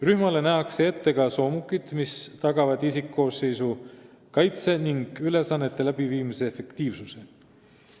Rühmale nähakse ette ka soomukid, mis tagavad isikkoosseisu kaitse ja ülesannete läbiviimise efektiivsuse.